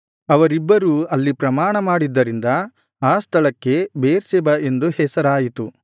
ಅವರಿಬ್ಬರು ಅಲ್ಲಿ ಪ್ರಮಾಣಮಾಡಿದ್ದರಿಂದ ಆ ಸ್ಥಳಕ್ಕೆ ಬೇರ್ಷೆಬ ಎಂದು ಹೆಸರಾಯಿತು